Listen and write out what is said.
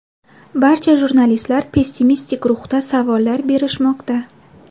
Barcha jurnalistlar pessimistik ruhda savollar berishmoqda.